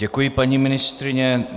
Děkuji, paní ministryně.